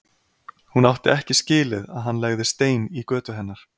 Hún átti ekki skilið að hann legði stein í götu hennar.